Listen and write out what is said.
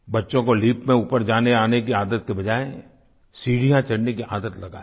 बच्चों को लिफ्ट में ऊपर जानेआने की बजाय सीढियाँ चढ़ने की आदत लगाएं